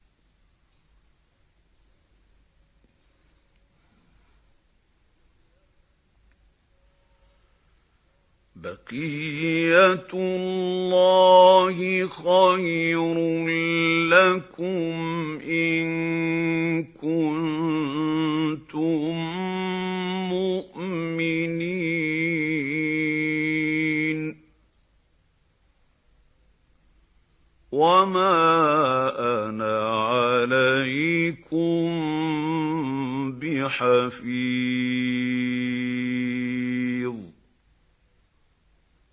بَقِيَّتُ اللَّهِ خَيْرٌ لَّكُمْ إِن كُنتُم مُّؤْمِنِينَ ۚ وَمَا أَنَا عَلَيْكُم بِحَفِيظٍ